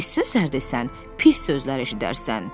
Pis sözlər desən, pis sözlər eşidərsən.